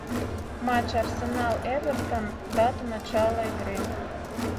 матч арсенал эвертон дата начала игры